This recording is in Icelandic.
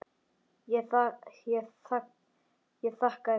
Ég þakkaði þeim fyrir.